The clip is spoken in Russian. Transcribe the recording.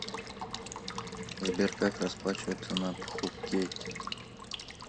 сбер как расплачиваться на пхукете